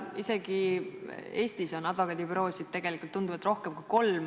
Isegi Eestis on advokaadibüroosid tegelikult tunduvalt rohkem kui kolm.